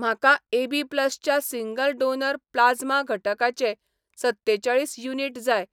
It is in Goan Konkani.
म्हाका एबी प्लसच्या सिंगल डोनर प्लाज्मा घटकाचे सत्तेचाळीस युनिट जाय,